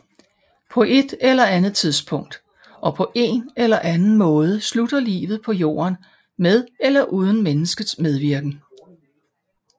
På ét eller andet tidspunkt og på én eller anden måde slutter livet på Jorden med eller uden menneskets medvirken